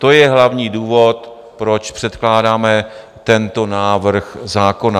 To je hlavní důvod, proč předkládáme tento návrh zákona.